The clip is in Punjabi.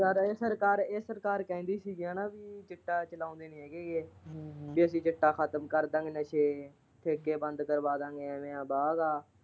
ਯਾਰ ਇਹ ਸਰਕਾਰ, ਇਹ ਸਰਕਾਰ ਕਹਿੰਦੀ ਸੀਗੀ ਹੈਨਾ ਕਿ ਚਿੱਟਾ ਲਾਉਂਦੇ ਨੀ ਹੈਗੇ ਵੀ ਅਸੀਂ ਚਿੱਟਾ ਖਤਮ ਕਰਦਾਂਗੇ, ਨਸੇ, ਠੇਕੇ ਬੰਦ ਕਰਵਾਦਾਗੇ ਇਹ ਮੇਰਾ ਵਾਦਾ ਆ।